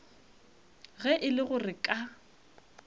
ge e le gore ka